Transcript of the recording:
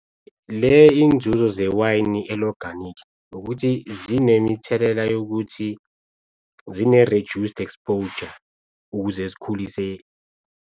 Le inzuzo zewayini eli-oganikhi ukuthi zinemithelela yokuthi zine reduced exposure ukuze zikhulise.